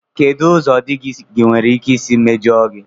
Kedụ ụzọ di gị nwere ike isi mejọọ gị?